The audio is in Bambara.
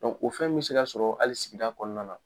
o fɛn bɛ se ka sɔrɔ hali sigida kɔnɔna na